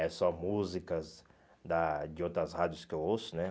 É só músicas da de outras rádios que eu ouço, né?